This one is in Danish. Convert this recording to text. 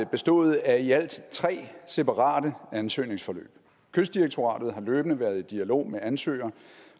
bestået af i alt tre separate ansøgningsforløb kystdirektoratet har løbende været i dialog med ansøger